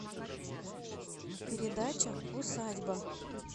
передача усадьба